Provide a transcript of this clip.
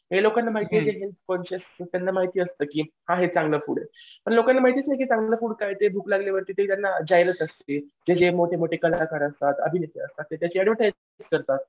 हे लोकांना माहिती आहे की कॉन्शिअस त्यांना माहिती असतं की आहे चांगलं फूड पण लोकांना माहितीच नाही की चांगलं फूड काय ते भूक लागल्यानंतर त्यांना की जे मोठे मोठे कलाकार असतात. अभिनेते असतात त्यांच्याशी ऍडव्हर्टाईस करतात.